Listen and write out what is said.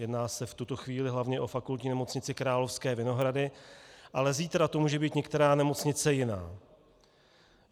Jedná se v tuto chvíli hlavně o Fakultní nemocnici Královské Vinohrady, ale zítra to může být některá nemocnice jiná.